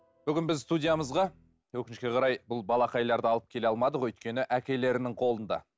бүгін біз студиямызға өкінішке қарай бұл балақайларды алып келе алмадық өйткені әкелерінің қолында